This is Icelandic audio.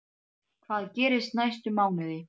Hvað gerist næstu mánuði?